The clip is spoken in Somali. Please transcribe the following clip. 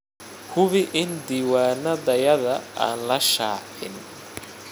Hubi in diiwaanadayada aan la shaacin.